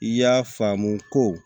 I y'a faamu ko